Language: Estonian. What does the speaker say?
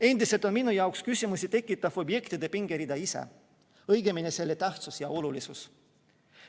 Endiselt on minu jaoks küsimusi tekitav objektide pingerida ise, õigemini selle tähtsus ja olulisus.